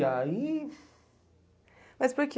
E aí... Mas por que?